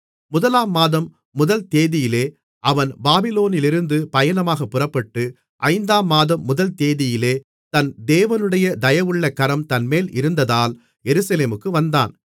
முதலாம் மாதம் முதல் தேதியிலே அவன் பாபிலோனிலிருந்து பயணமாகப் புறப்பட்டு ஐந்தாம் மாதம் முதல்தேதியிலே தன் தேவனுடைய தயவுள்ள கரம் தன்மேலிருந்ததால் எருசலேமுக்கு வந்தான்